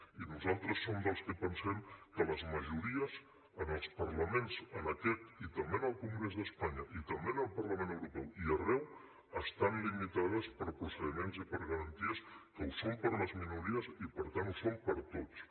i nosaltres som dels que pensem que les majories en els parlaments en aquest i també en el congrés d’espanya i també en el parlament europeu i arreu estan limitades per procediments i per garanties que ho són per a les minories i per tant ho són per a tots